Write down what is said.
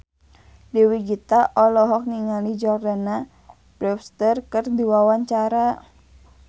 Dewi Gita olohok ningali Jordana Brewster keur diwawancara